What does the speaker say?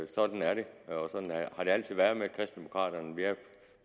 sådan er det og sådan har det altid været med kristendemokraterne vi er et